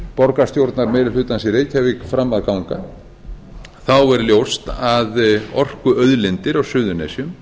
borgarstjórnarmeirihlutans í reykjavík fram að ganga er ljóst að orkuauðlindir á suðurnesjum